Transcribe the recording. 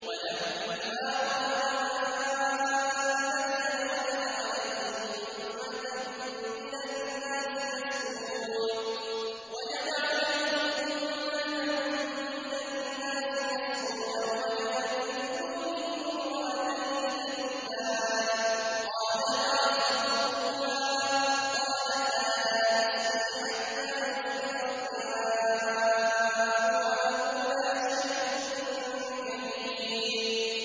وَلَمَّا وَرَدَ مَاءَ مَدْيَنَ وَجَدَ عَلَيْهِ أُمَّةً مِّنَ النَّاسِ يَسْقُونَ وَوَجَدَ مِن دُونِهِمُ امْرَأَتَيْنِ تَذُودَانِ ۖ قَالَ مَا خَطْبُكُمَا ۖ قَالَتَا لَا نَسْقِي حَتَّىٰ يُصْدِرَ الرِّعَاءُ ۖ وَأَبُونَا شَيْخٌ كَبِيرٌ